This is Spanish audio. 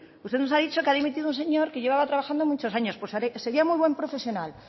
usted no ha dicho que ha dimitido un señor que llevaba trabajando muchos años pues sería muy buen profesional